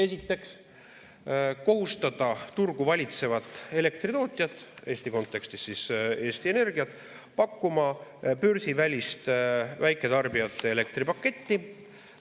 Esiteks, kohustada turgu valitsevat elektritootjat, Eesti kontekstis siis Eesti Energiat, pakkuma börsivälist väiketarbijate elektripaketti.